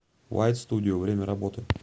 вайт студио время работы